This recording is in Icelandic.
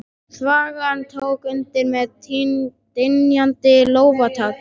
Þvagan tók undir með dynjandi lófataki.